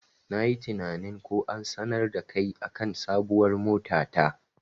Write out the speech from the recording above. Nayi tinanin ko an sanar dakai akan sabuwar mota ta.